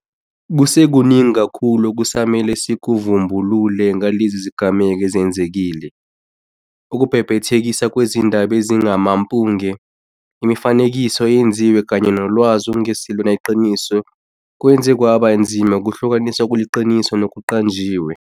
Kusekuningi kakhulu okusamele sikuvumbulule ngalezi zigameko ezenzekile. Ukubhebhethekiswa kwezindaba ezingamampunge, imifanekiso eyenziwe kanye nolwazi olungesilona iqiniso kwenze kwaba nzima ukuhlukanisa okuliqiniso nokuqanjiwe.